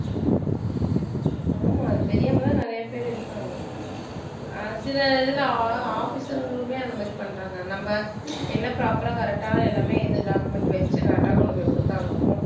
ஆமா அது தெரியாமதான் நிறைய பேர் இருக்காங்க அஹ் சில இதுல அஹ் officer ங்களுமே அந்த மாதிரி பண்றாங்க நம்ம என்ன proper ஆ correct ஆ எல்லாமே இது document வச்சு correct ஆ கொண்டு போய் கொடுத்தாலும்